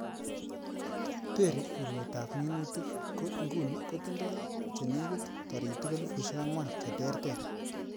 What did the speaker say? Terry urwetab minutik, ko inguni kotindoi chenekit toritik elfusiek angwan cheterter.